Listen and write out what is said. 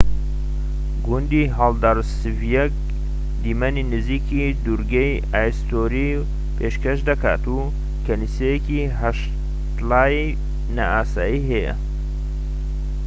گوندی هاڵدارسڤیک دیمەنی نزیکی دوورگەی ئایستوری پێشکەش دەکات و کەنیسەیەکی هەشتلایی نائاسایی هەیە